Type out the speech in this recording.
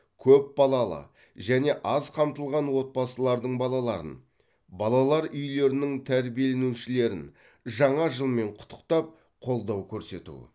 көпбалалы және аз қамтылған отбасылардың балаларын балалар үйлерінің тәрбиеленушілерін жаңа жылмен құттықтап қолдау көрсету